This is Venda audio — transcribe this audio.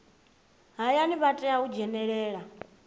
hayani vha tea u dzhenelela